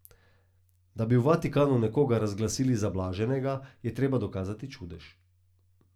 Da bi v Vatikanu nekoga razglasili za blaženega, je treba dokazati čudež.